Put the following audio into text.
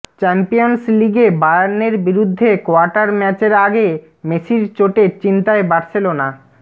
champions লিগে বায়ার্নের বিরুদ্ধে কোয়ার্টার ম্যাচের আগে মেসির চোটে চিন্তায় বার্সেলোনা